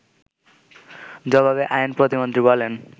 জবাবে আইন প্রতিমন্ত্রী বলেন